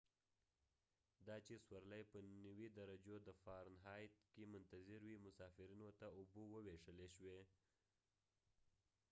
دا چی سورلی په 90 درجو د فارن هایت کی منتظرې وې مسافرینو ته اوبه وویشلی شوې